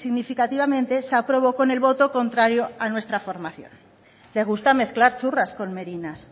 significativamente se aprobó con el voto contrario a nuestra formación le gusta mezclar churras con merinas